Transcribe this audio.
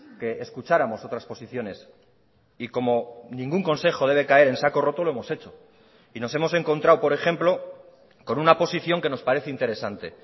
que escucháramos otras posiciones y como ningún consejo debe caer en saco roto lo hemos echo y nos hemos encontrado por ejemplo con una posición que nos parece interesante